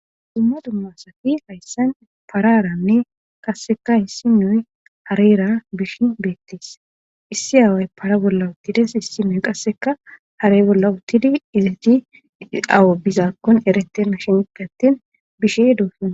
dumma dummasafi hayssan pararanne qasseka hissi noy harira bishin beettis issi aaway para bolla uttides hissi nuy qasseka hare bolla uttidi izaji awa bizaakkon erette ma shende attin bishe doosuna